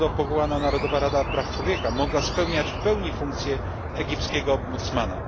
powołana narodowa rada praw człowieka mogła pełnić funkcję egipskiego ombudsmana.